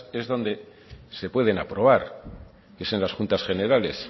es donde se pueden aprobar es en las juntas generales